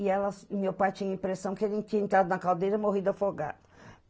E ela... meu pai tinha a impressão que ele tinha entrado na caldeira e morrido afogado.